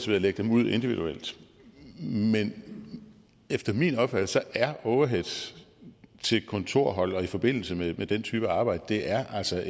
ved at lægge det ud individuelt men efter min opfattelse er overheads til kontorhold og i forbindelse med den type arbejde altså